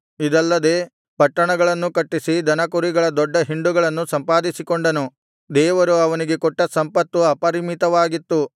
ಇದಲ್ಲದೆ ಪಟ್ಟಣಗಳನ್ನೂ ಕಟ್ಟಿಸಿ ದನಕುರಿಗಳ ದೊಡ್ಡ ಹಿಂಡುಗಳನ್ನು ಸಂಪಾದಿಸಿಕೊಂಡನು ದೇವರು ಅವನಿಗೆ ಕೊಟ್ಟ ಸಂಪತ್ತು ಅಪರಿಮಿತವಾಗಿತ್ತು